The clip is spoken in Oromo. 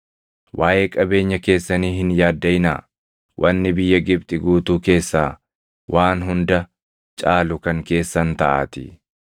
Waaʼee qabeenya keessanii hin yaaddaʼinaa; wanni biyya Gibxi guutuu keessaa waan hunda caalu kan keessan taʼaatii.’ ”